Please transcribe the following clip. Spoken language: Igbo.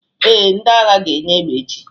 ee, ndị agha ga-enye egbe echi